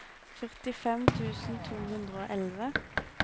førtifem tusen to hundre og elleve